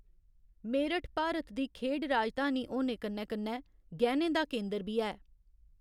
मेरठ भारत दी खेढ राजधानी होने कन्नै कन्नै गैह्‌‌‌नें दा केंदर बी ऐ।